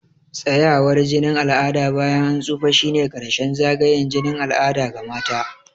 Tsayawar jinin al'ada bayan an tsufa shine ƙarshen zagayen jinin al'ada ga mata.